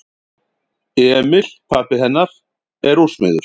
Emil pabbi hennar er úrsmiður.